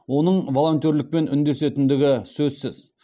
оның волонтерлікпен үндесетіндігі сөзсіз